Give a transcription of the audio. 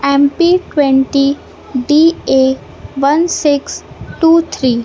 M P twenty D A one six two three.